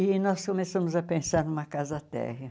E nós começamos a pensar numa casa térrea.